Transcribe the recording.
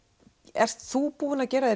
ert þú búin að gera